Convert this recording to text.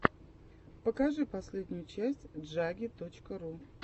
покажи последнюю часть джаги точка ру